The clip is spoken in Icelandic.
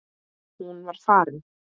Hún var farin.